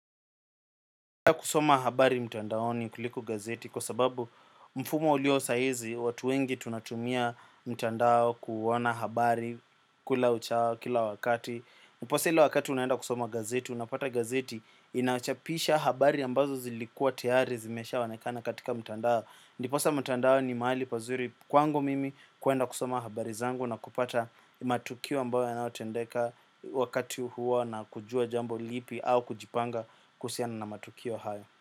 Kusoma habari mtandaoni kuliko gazeti kwa sababu mfumo uliosahizi watu wengi tunatumia mtandao kuona habari kula uchao kila wakati. Upose ile wakati unaenda kusoma gazeti unapata gazeti inachapisha habari ambazo zilikua tayari zimeshaonekana katika mtandao. Ndiposa mtandao ni mahali pazuri kwangu mimi kuenda kusoma habari zangu na kupata matukio ambayo yanayotendeka wakati huo na kujua jambo lipi au kujipanga kuhusiana na matukio haya.